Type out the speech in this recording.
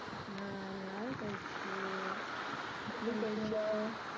ആ ഞാൻ കഴിച്ചു. കഴിച്ചോ?